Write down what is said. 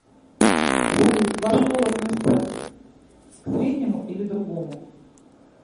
салют ваш пол относится к среднему или другому